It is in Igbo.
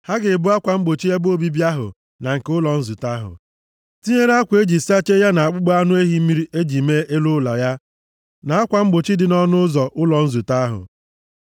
Ha ga-ebu akwa mgbochi ebe obibi ahụ na nke ụlọ nzute ahụ, tinyere akwa e ji sachie ya na akpụkpọ anụ ehi mmiri e ji mee elu ụlọ ya na akwa mgbochi dị nʼọnụ ụzọ ụlọ nzute ahụ.